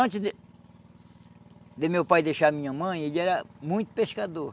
Antes de de meu pai deixar a minha mãe, ele era muito pescador.